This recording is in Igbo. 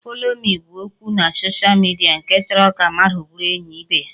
Follow me' bụ okwu na social media nke chọrọ ka mmadụ bụrụ enyi ibe ya